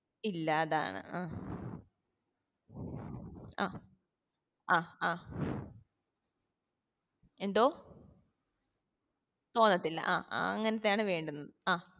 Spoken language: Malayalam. ഇല്ല അതാണ് ആഹ് ആഹ് ആഹ് ആഹ് എന്തോ തോന്നത്തില്ല ആഹ് അങ്ങനത്തെ ആണ് വേണ്ടത്